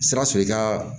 Sikaso i ka